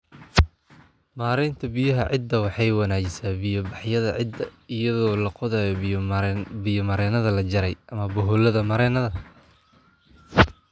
Maareynta Biyaha Ciidda Waxay wanaajisaa biya-baxyada ciidda iyadoo la qodayo biyo-mareennada la jaray ama boholo-mareennada.